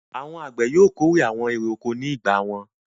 Àwọn àgbẹ̀ yóò kórè àwọn èrè-oko ní ìgbà wọn.